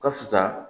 Ka fisa